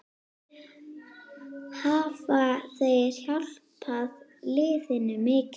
Hafa þeir hjálpað liðinu mikið?